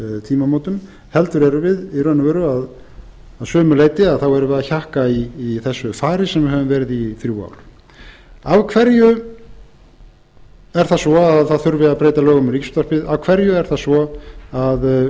tímamótum heldur erum við að sumu leyti að hjakka í þessu fari sem við höfum verið í í þrjú ár af hverju er það svo að það þurfi að breyta lögum um ríkisútvarpið af hverju er það svo að